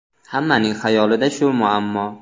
Hammaning xayolida shu muammo.